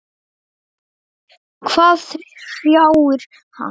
Hvað hrjáir hann?